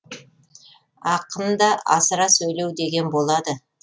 ақында асыра сөйлеу деген болады